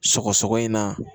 Sɔgɔsɔgɔ in na